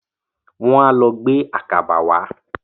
Wọ́n á lọ gbé àkàbà wá.